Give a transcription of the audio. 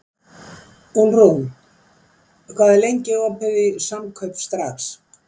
Úlfrún, hvað er lengi opið í Samkaup Strax?